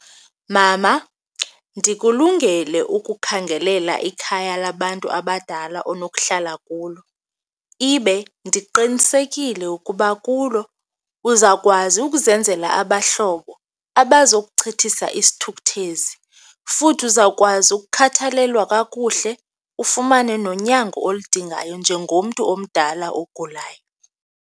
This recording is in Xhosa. Mama, ndikulungele ukukhangelela ikhaya labantu abadala onohlala kulo, ibe ndiqinisekile ukuba kulo uzawukwazi ukuzenzela abahlobo abazokuchithisa isithukuthezi. Futhi uzawukwazi ukukhathalelwa kakuhle ufumane nonyango oludingayo njengomntu omdala ogulayo.